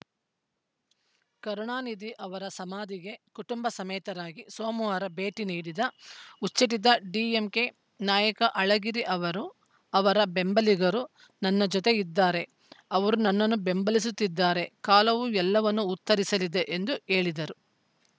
ಕರುಣಾನಿಧಿ ಅವರ ಸಮಾಧಿಗೆ ಕುಟುಂಬ ಸಮೇತರಾಗಿ ಸೋಮವಾರ ಭೇಟಿ ನೀಡಿದ ಉಚ್ಚಾಟಿತ ಡಿಎಂಕೆ ನಾಯಕ ಅಳಗಿರಿ ಅವರು ಅವರ ಬೆಂಬಲಿಗರು ನನ್ನ ಜತೆಗೆ ಇದ್ದಾರೆ ಅವರು ನನ್ನನ್ನು ಬೆಂಬಲಿಸುತ್ತಿದ್ದಾರೆ ಕಾಲವು ಎಲ್ಲವನ್ನೂ ಉತ್ತರಿಸಲಿದೆ ಎಂದು ಹೇಳಿದರು